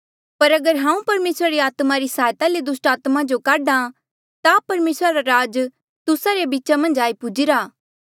पर अगर हांऊँ परमेसरा री आत्मा री सहायता ले दुस्टात्मा जो काढा ता परमेसरा रा राज तुस्सा रे बीचा मन्झ आई पुजीरा